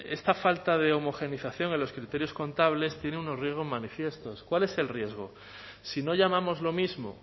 esta falta de homogeneización en los criterios contables tiene unos riesgos manifiestos cuál es el riesgo si no llamamos lo mismo